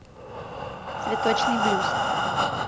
цветочный блюз